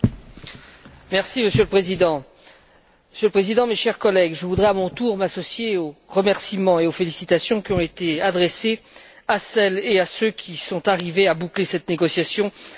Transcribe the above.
Monsieur le Président, mes chers collègues, je voudrais à mon tour m'associer aux remerciements et aux félicitations qui ont été adressés à celles et à ceux qui sont arrivés à boucler cette négociation très difficile.